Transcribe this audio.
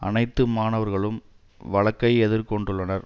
அனைத்து மாணவர்களும் வழக்கை எதிர் கொண்டுள்ளனர்